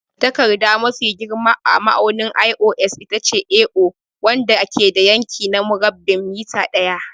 Takarda mafi girma a ma'aunin ISO itace A0, wanda ke da yanki na murabba'in mita ɗaya.